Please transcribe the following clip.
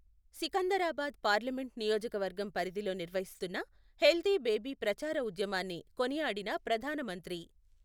Secunderabad parliament నియోజకవర్గం పరిధిలో నిర్వహిస్తున్న హెల్దీ బేబీ ప్రచార ఉద్యమాన్ని కొనియాడిన ప్రధాన మంత్రి